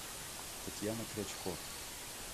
татьяна крячко